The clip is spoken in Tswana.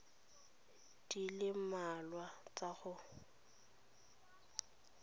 di le mmalwa tsa go